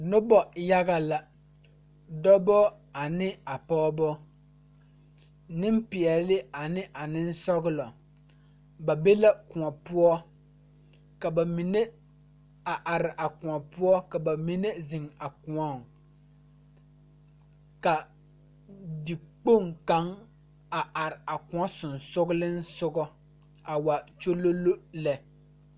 Nobɔ yaga la dɔbɔ ane a pɔɔbɔ Neŋpeɛɛle ane a neŋsɔglɔ ba be la kòɔ poɔ ka ba mine a are a kòɔ poɔ ka ba mine zeŋ a kõɔŋ ka tekpoŋ kaŋar are a kõɔ sensugliŋsugɔ a waa kyololo lɛ.